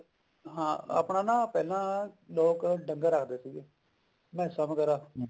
ਹਾਂ ਪਾਨਾ ਨਾ ਪਹਿਲਾਂ ਲੋਕ ਡੰਗਰ ਰੱਖਦੇ ਸੀਗੇ ਮੈਸਾਂ ਵਗੇਰਾ